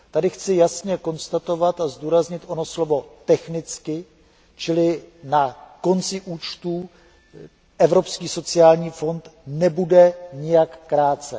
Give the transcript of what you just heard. Tady chci jasně konstatovat a zdůraznit ono slovo technicky, čili na konci účetního období Evropský sociální fond nebude nijak krácen.